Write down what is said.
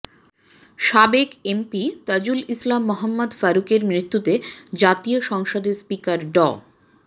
সাবেক এমপি তাজুল ইসলাম মোহাম্মদ ফারুক এর মৃত্যুতে জাতীয় সংসদের স্পিকার ড